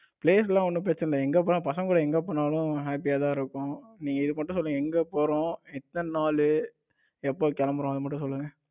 place எல்லாம் ஒன்னும் பிரச்சனை இல்ல எங்க போனாலும் பசங்க கூட எங்க போனாலும் happy தான் இருக்கும் நீங்க இது மட்டும் சொல்லுங்க எங்க போறோம் எத்தன நாளு, எப்ப கிளம்புறோம் அத மட்டும் சொல்லுங்க.